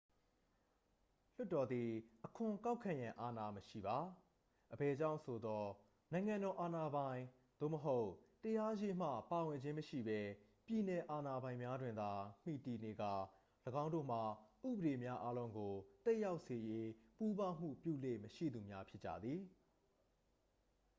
လွှတ်တော်သည် အခွန်ကောက်ခံရန် အာဏာမရှိပါ အဘယ်ကြောင့်ဆိုသော် နိုင်ငံတော် အာဏာပိုင်သို့မဟုတ် တရားရေးမှ ပါဝင်ခြင်းမရှိပဲ ပြည်နယ်အာဏာပိုင်များတွင်သာ မှီတည်နေကာ ၎င်းတို့မှာ ဥပဒေများအားလုံးကို သက်ရောက်စေရေး ပူးပေါင်းမှုပြုလေ့မရှိသူများဖြစ်ကြသည်